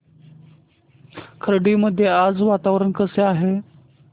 खर्डी मध्ये आज वातावरण कसे आहे